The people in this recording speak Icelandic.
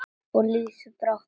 Og líður brátt að vetri.